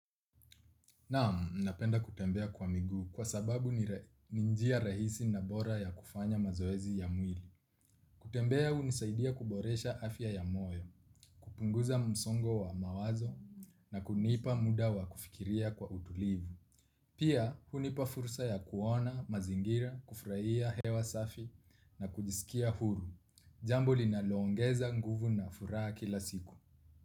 Naam, napenda kutembea kwa miguu kwa sababu ni njia rahisi na bora ya kufanya mazoezi ya mwili. Kutembea hunisaidia kuboresha afya ya moyo, kupunguza msongo wa mawazo na kunipa muda wa kufikiria kwa utulivu. Pia, hunipa fursa ya kuona, mazingira, kufurahia hewa safi na kujisikia huru. Jambo linalo ongeza nguvu na furaha kila siku.